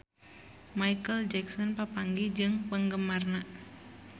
Micheal Jackson papanggih jeung penggemarna